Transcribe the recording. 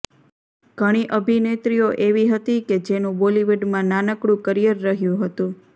ઘણી અભિનેત્રીઓ એવી હતી કે જેનું બોલીવુડમાં નાનકડું કરિયર રહ્યું હતું